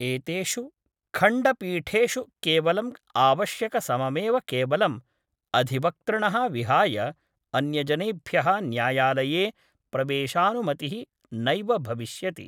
एतेषु खण्डपीठेषु केवलं आवश्यक सममेव केवलं अधिवक्तृणः विहाय अन्यजनेभ्यः न्यायालये प्रवेशानुमतिः नैव भविष्यति।